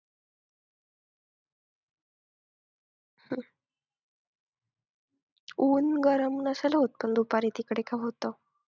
ऊन गरम नसेल होत दुपारी तिकडे का होतं?